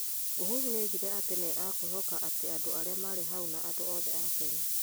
Uhuru nĩoigire atĩ nĩ akũĩhoka atĩ andũ arĩa marĩ hau na andũ othe a Kenya